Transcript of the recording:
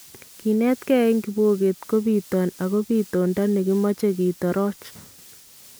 Kinetkee en kibokeet ko bitoon ak bitoonda ne makimache kitorooch